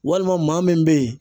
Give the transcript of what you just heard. Walima maa min bɛ yen